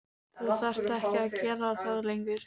Þú þarft ekki að gera það lengur.